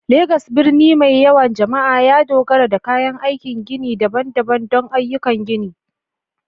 Legas, birni mai yawan jama'a, ya dogara da kayan aikin gini daban-daban don ayyukan gini